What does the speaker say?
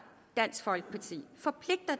dansk folkeparti